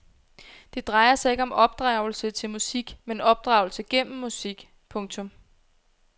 Det drejer sig ikke om opdragelse til musik men opdragelse gennem musik. punktum